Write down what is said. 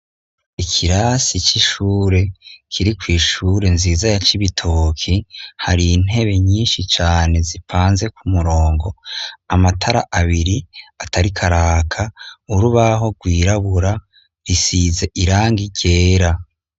Ikirasi c'ishuri kiri kw'ishuri nziza ya Cibikoki, har'intebe nyinshi cane zipanze kumurongo, amatara abiri atarik' araka , urubaho rwirabura , isize irangi ryera.